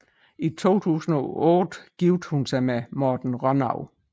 I 2008 giftede hun sig med Morten Rønnow